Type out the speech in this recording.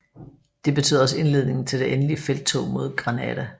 Det betød også indledningen til det endelige felttog mod Granada